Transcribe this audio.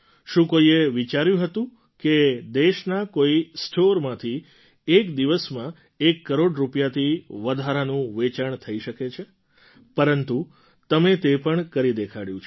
શું કોઈએ વિચાર્યું હતું કે ખાદીના કોઈ સ્ટૉરમાંથી એક દિવસમાં એક કરોડ રૂપિયાથી વધારાનું વેચાણ થઈ શકે છે પરંતુ તમે તે પણ કરી દેખાડ્યું છે